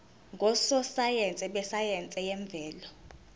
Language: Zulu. ngososayense besayense yemvelo